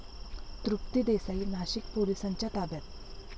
तृप्ती देसाई नाशिक पोलिसांच्या ताब्यात